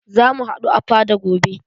Za mu haɗu a fada gobe.